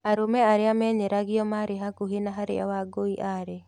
Arũme arĩa menyeragio maarĩ hakuhĩ na harĩa Wangũi arĩ.